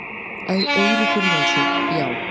Eiríkur Jónsson: Já.